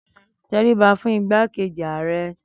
Tẹríba fún igbákejì ààrẹ